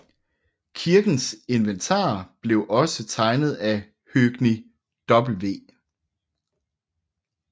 Kirkens inventar blev også tegnet af Høgni W